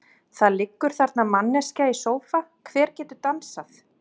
Það liggur þarna manneskja í sófa, hver getur dansað?